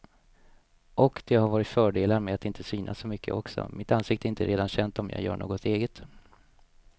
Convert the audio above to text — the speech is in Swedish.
Och det har varit fördelar med att inte synas så mycket också, mitt ansikte är inte redan känt om jag gör något eget.